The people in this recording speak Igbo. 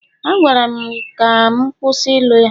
A gwara m ka m kwụsị ịlụ ya